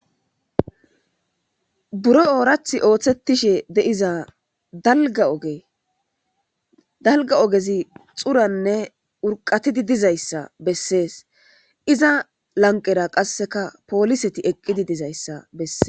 Buru oorathi oosetishe diza dalga ogezi xurane urqatizi dizaysa beses iza lanqera kase pooliseti eqidi dizaysa beses.